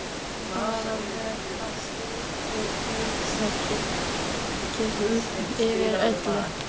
Klukkan var að verða þrjú og dauðakyrrð yfir öllu.